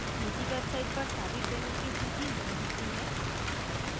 निजी websites पर सारी trains की सूची नहीं होती है